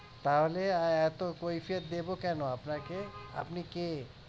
তাহলে এতো কৈফিয়ত দেব কেন আপনাকে আপনি কে আপনি কে